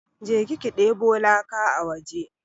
Je ki ki deɓo laka a waje!